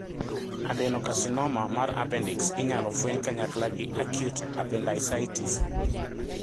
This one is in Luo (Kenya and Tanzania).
Adenocarcinoma mar appendix inyalo fueny kanyakla gi acute appendicitis.